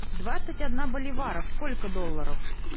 двадцать одна боливаров сколько долларов